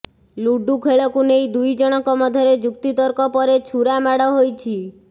ludo ଖେଳକୁ ନେଇ ଦୁଇ ଜଣଙ୍କ ମଧ୍ୟରେ ଯୁକ୍ତିତର୍କ ପରେ ଛୁରା ମାଡ ହୋଇଛି